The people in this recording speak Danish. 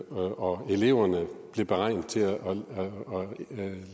og eleverne blev beregnet til at